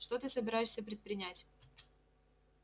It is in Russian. что ты собираешься предпринять